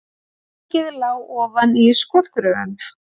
Þingið lá ofan í skotgröfum